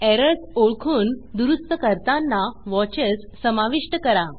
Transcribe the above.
errors ओळखून दुरूस्त करतांना watchesवॉचस समाविष्ट करा